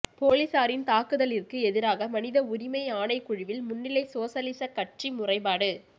பொலிஸாரின் தாக்குதலிற்கு எதிராக மனித உரிமை ஆணைக்குழுவில் முன்னிலை சோசலிச கட்சி முறைப்பாடு